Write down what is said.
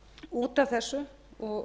út af þessu og